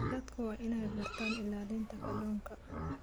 Dadku waa inay bartaan ilaalinta kalluunka.